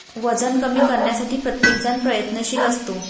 वजन कमी करण्यासाठी प्रत्येकजण प्रयत्नशील असतो.